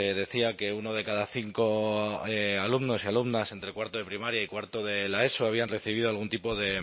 decía que uno de cada cinco alumnos y alumnas entre cuarto de primaria y cuarto de la eso habían recibido algún tipo de